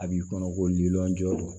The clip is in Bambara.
A b'i kɔnɔ ko lili joona